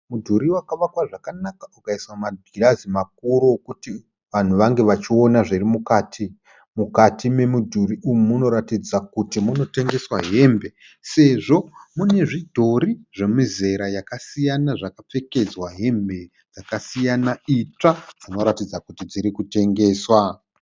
Mudhuri wakavakwa zvakanaka ukaiswa magirazi makuru okuti vanhu vange vachiona zviri mukati. Mukati momudhuri umu munoratidza kuti munotengeswa hembe sezvo mune zvidhori zvemizera yakasiyana zvakapfekedzwa hembe dzakasiyana itsva zvinoratidza kuti dziri kutengeswa.